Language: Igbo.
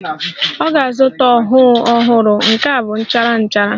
Ọ ga-azụta ọhụụ ọhụrụ, nke a bụ nchara nchara